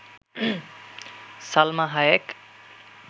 Salma Hayek